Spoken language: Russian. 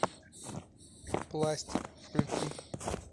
пластик включи